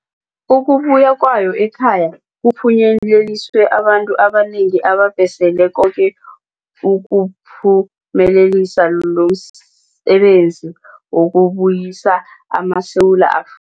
Ukubuya kwawo ekhaya kuphunyeleliswe babantu abanengi ababhesele koke ukuphumelelisa lomsebenzi wokubuyisa amaSewula Afrika.